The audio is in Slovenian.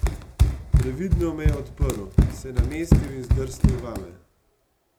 Previdno me je odprl, se namestil in zdrsnil vame.